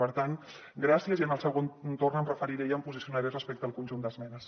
per tant gràcies i en el segon torn em referiré i em posicionaré respecte al conjunt d’esmenes